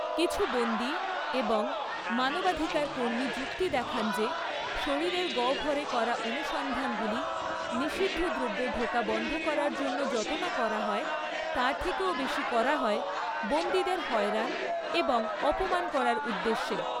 কিছু বন্দী এবং মানবাধিকার কর্মী যুক্তি দেখান যে, শরীরের গহ্বরে করা অনুসন্ধানগুলি নিষিদ্ধ দ্রব্য ঢোকা বন্ধ করার জন্য যত না করা হয়, তার থেকেও বেশি করা হয় বন্দীদের হয়রান এবং অপমান করার উদ্দেশ্যে।